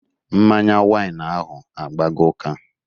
Mmanya wain ahụ agbago ụka